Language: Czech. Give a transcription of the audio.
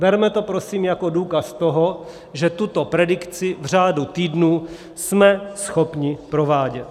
Berme to prosím jako důkaz toho, že tuto predikci v řádu týdnů jsme schopni provádět.